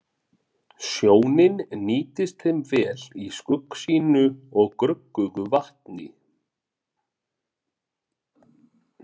Sjónin nýtist þeim vel í skuggsýnu og gruggugu vatni.